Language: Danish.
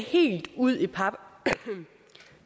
helt ud i pap